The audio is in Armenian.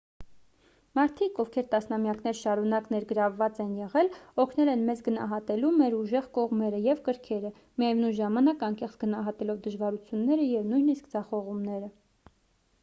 մարդիկ ովքեր տասնամյակներ շարունակ ներգրավված են եղել օգնել են մեզ գնահատելու մեր ուժեղ կողմերը և կրքերը միևնույն ժամանակ անկեղծ գնահատելով դժվարությունները և նույնիսկ ձախողումները